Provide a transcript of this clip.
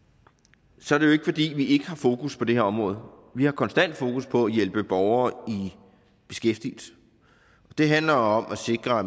så er det jo ikke fordi vi ikke har fokus på det her område vi har konstant fokus på at hjælpe borgere i beskæftigelse det handler om at sikre at